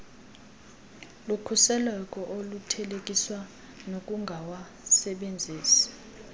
lukhuseleko oluthelekiswa nokungawasebenzisi